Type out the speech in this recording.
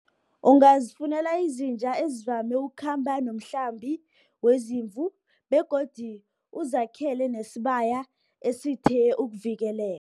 Ungazifunela izinja ezivame ukhamba nokuhlambi wezimvu, begodi ukuzakhela nesibaya esithe ukuvikeleka.